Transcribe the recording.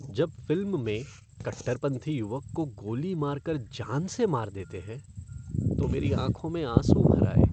जब फ़िल्म में कट्टरपंथी युवक को गोली मार कर जान से मार देते हैं तो मेरी आँखों में आँसू भर आए।